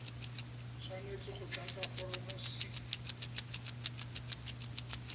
tshwanetse go tlatsa foromo c